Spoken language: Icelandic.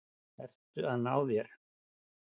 Ert að ná þér.